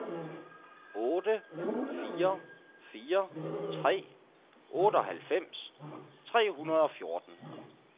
otte fire fire tre otteoghalvfems tre hundrede og fjorten